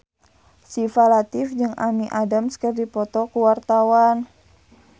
Syifa Latief jeung Amy Adams keur dipoto ku wartawan